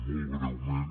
molt breument